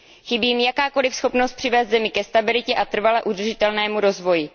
Chybí jim jakákoliv schopnost přivést zemi ke stabilitě a k trvale udržitelnému rozvoji.